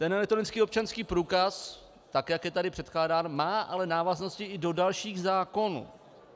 Ten elektronický občanský průkaz, tak jak je tady předkládán, má ale návaznost i na další zákony.